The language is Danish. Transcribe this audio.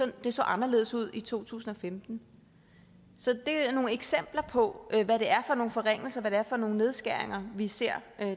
det så anderledes ud i to tusind og femten så det er nogle eksempler på hvad det er for nogle forringelser og hvad det er for nogle nedskæringer vi ser